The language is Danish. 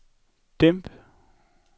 dæmp